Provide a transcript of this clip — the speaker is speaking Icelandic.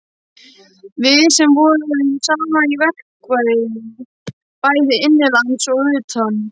Við sem vorum saman í verkfræði bæði innanlands og utan.